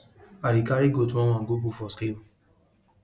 i dey carry goat oneone go put for scale